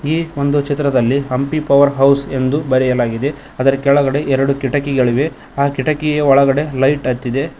ಈ ಒಂದು ಚಿತ್ರದಲ್ಲಿ ಹಂಪಿ ಪವರ್ ಹೌಸ್ ಎಂದು ಬರೆಯಲಾಗಿದೆ ಅದರ ಕೆಳಗಡೆ ಎರಡು ಕಿಟಕಿಗಳಿವೆ ಆ ಕಿಟಕಿಯ ಒಳಗಡೆ ಲೈಟ್ ಹತ್ತಿದೆ.